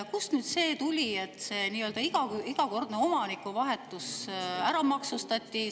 Kust see tuli, et iga omanikuvahetus ära maksustati?